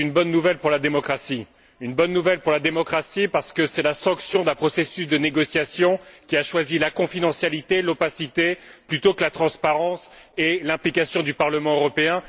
C'est une bonne nouvelle pour la démocratie, parce que c'est la sanction d'un processus de négociation qui a choisi la confidentialité, l'opacité plutôt que la transparence et l'implication du Parlement européen.